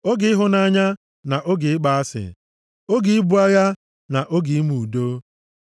oge ịhụnanya na oge ịkpọ asị, oge ibu agha, na oge ime udo.